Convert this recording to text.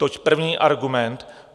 Toť první argument.